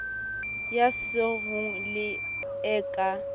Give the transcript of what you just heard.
ya sengo le e ka